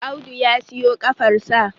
Audu ya siyo kafar sa